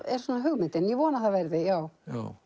er svona hugmyndin ég vona að það verði já